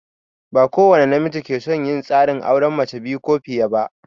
Ba kowani namiji ke son yin tsarin auren mace biyu ko fiye ba.